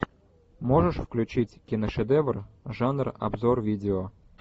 можешь включить киношедевр жанр обзор видео